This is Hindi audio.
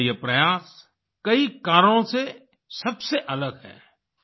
उनका यह प्रयास कई कारणों से सबसे अलग है